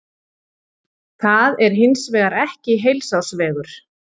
Það er hins vegar ekki heilsársvegur.